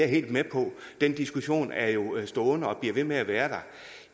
helt med på den diskussion er jo stående og bliver ved med at være der